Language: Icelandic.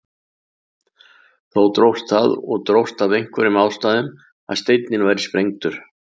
Þó dróst það og dróst af einhverjum ástæðum að steinninn væri sprengdur.